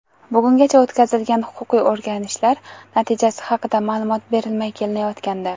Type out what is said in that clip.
bugungacha o‘tkazilgan huquqiy o‘rganishlar natijasi haqida ma’lumot berilmay kelinayotgandi.